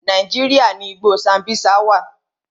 Nàíjíríà ni igbó Sambisa wà.